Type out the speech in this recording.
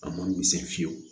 A ma misɛn fiyewu